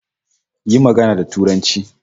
Yi magana da Turanci